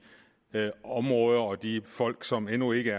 områder og de folk som endnu ikke